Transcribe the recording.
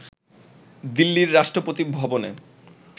দিল্লির রাষ্ট্রপতি ভবনে